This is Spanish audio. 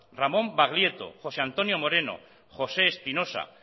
ramón baglieto josé antonio moreno josé espinosa